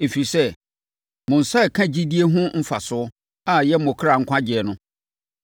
ɛfiri sɛ, mo nsa reka gyidie ho mfasoɔ a ɛyɛ mo kra nkwagyeɛ no.